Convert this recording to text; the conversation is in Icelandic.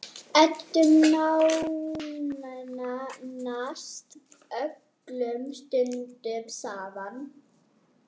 Eyddum nánast öllum stundum saman.